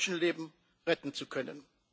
Menschenleben retten zu können.